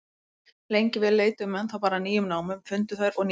Lengi vel leituðu menn þá bara að nýjum námum, fundu þær og nýttu.